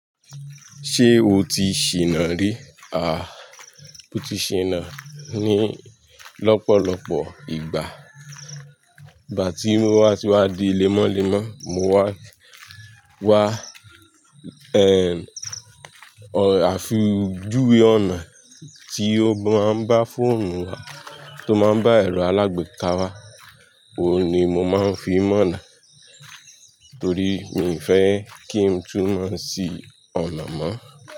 Ṣé o ti ṣìnà rí? A, mo ti ṣìnà ní lọ́pọ̀lọpọ̀ ìgbà. Ìgbà tí mo wá tiwa di lemọ́lemọ́, mo wá, wá, ẹ́, a fi ojúwe ọ̀nà tí ó máa ń bá fóònù wa tó máa ń bá ẹ̀rọ alágbèéká wá, òun ni mo máa ń fi mọ̀ ọ̀nà torí mi ò fẹ́ kí n túmọ̀ sí ọ̀nà mọ́.